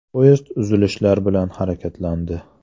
Poyezd uzilishlar bilan harakatlandi.